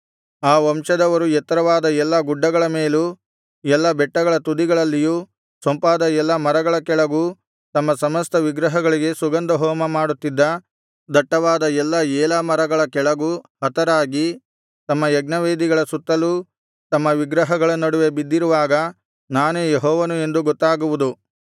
ಆ ವಂಶದವರು ಎತ್ತರವಾದ ಎಲ್ಲಾ ಗುಡ್ಡಗಳ ಮೇಲೂ ಎಲ್ಲಾ ಬೆಟ್ಟಗಳ ತುದಿಗಳಲ್ಲಿಯೂ ಸೊಂಪಾದ ಎಲ್ಲಾ ಮರಗಳ ಕೆಳಗೂ ತಮ್ಮ ಸಮಸ್ತ ವಿಗ್ರಹಗಳಿಗೆ ಸುಗಂಧಹೋಮ ಮಾಡುತ್ತಿದ್ದ ದಟ್ಟವಾದ ಎಲ್ಲಾ ಏಲಾ ಮರಗಳ ಕೆಳಗೂ ಹತರಾಗಿ ತಮ್ಮ ಯಜ್ಞವೇದಿಗಳ ಸುತ್ತಲೂ ತಮ್ಮ ವಿಗ್ರಹಗಳ ನಡುವೆ ಬಿದ್ದಿರುವಾಗ ನಾನೇ ಯೆಹೋವನು ಎಂದು ಗೊತ್ತಾಗುವುದು